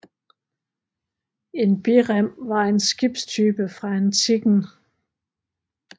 En birem var en skibstype fra antikken